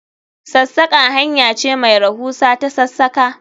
Sassaka hanya ce mai rahusa ta sassaka